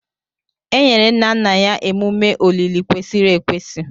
E nyere nna nna ya emume olili kwesịrị ekwesị.